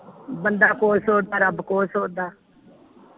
ਬੰਦਾ ਕੁਛ ਸੋਚਦਾ ਰੱਬ ਕੁਛ ਸੋਚਦਾ